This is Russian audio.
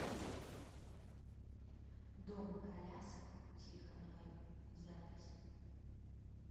дом колясок у тихоновой запись